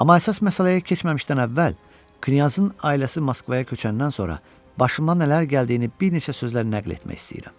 Amma əsas məsələyə keçməmişdən əvvəl knyazın ailəsi Moskvaya köçəndən sonra başıma nələr gəldiyini bir neçə sözlə nəql etmək istəyirəm.